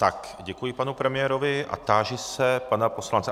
Tak, děkuji panu premiérovi a táži se pana poslance...